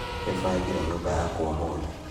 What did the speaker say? Nĩbangire nyũmba yakwa ũmũthĩ